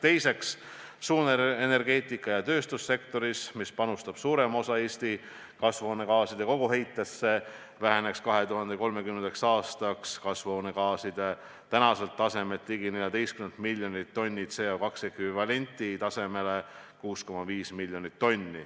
Teiseks tuleb tagada, et suurenergeetika ja tööstussektoris, millest pärineb suurem osa Eesti kasvuhoonegaaside koguheitest, väheneks 2030. aastaks kasvuhoonegaaside hulk praeguselt ligi 14 miljonilt tonnilt CO2 ekvivalendilt 6,5 miljoni tonnini.